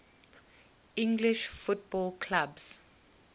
english football clubs